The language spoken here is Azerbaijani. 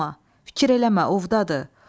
Qorxma, fikir eləmə, ovdadır.